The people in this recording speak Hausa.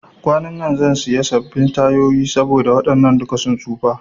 Kwanan zan siya sabin tayoyi saboda waɗannan duka sun tsufa